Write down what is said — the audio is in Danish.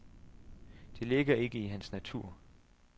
Det ligger ikke til hans natur.